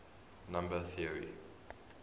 number theory